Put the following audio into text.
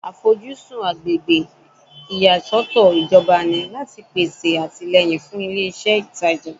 Àfojúsùn agbègbè ìyàsọ́tọ̀ ìjọba ni láti pèsè àtìlẹ́yìn fún ilé iṣẹ́ ìtajà